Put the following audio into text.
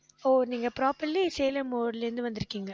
ஓ நீங்க properly சேலம் இருந்து வந்திருக்கீங்க